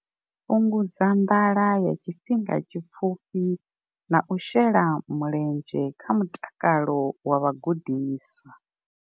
Fhungudza nḓala ya tshifhinga tshipfufhi na u shela mulenzhe kha mutakalo wa vhagudiswa.